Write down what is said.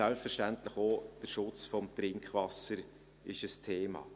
Selbstverständlich ist auch der Schutz des Trinkwassers ein Thema.